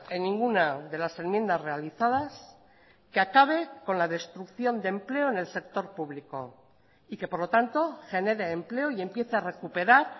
en ninguna de las enmiendas realizadas que acabe con la destrucción de empleo en el sector público y que por lo tanto genere empleo y empiece a recuperar